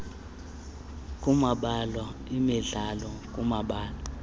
kumabala emidlalo kumabala